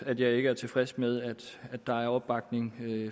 at jeg ikke er tilfreds med at der er opbakning